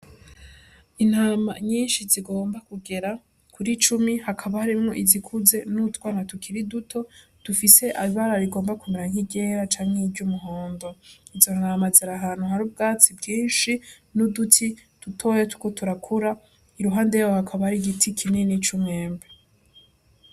Intama nyinshi zigomba kugera kuri cumi hakaba harimwo izikuze n'utwana tukiri duto dufise ibara rigomba kumera nk'iryera canke nki ry'umuhondo izo ntama ziri ahantu hari ubwatsi bwinshi n'uduti dutoya turiko turakura iruhande yaho hakaba ari igiti kinini c'umwembe.